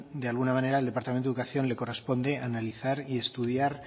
de alguna manera al departamento de educación le corresponde analizar y estudiar